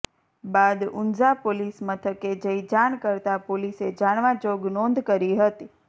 બાદ ઊંઝા પોલીસ મથકે જઈ જાણ કરતાં પોલીસે જાણવા જોગ નોંધ કરી હતી